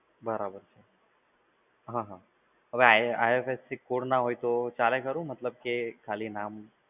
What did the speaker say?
બરાબર, હા હા, હવે IFSC કોડ ના હોય તો ચાલે ખરું? મતલબ કે ખાલી નામ